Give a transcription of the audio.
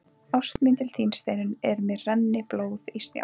Ást mín til þín, Steinunn, er sem renni blóð í snjá.